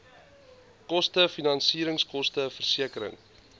koste finansieringskoste versekering